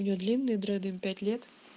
у нее длинные дреды им пять лет